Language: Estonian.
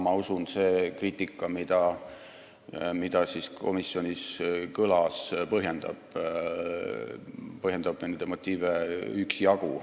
Ma usun, et see kriitika, mis komisjonis kõlas, põhjendab nende motiive üksjagu.